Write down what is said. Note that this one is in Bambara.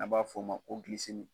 An b'a fɔ o ma ko